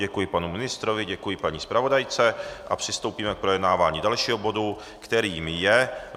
Děkuji panu ministrovi, děkuji paní zpravodajce a přistoupíme k projednávání dalšího bodu, kterým je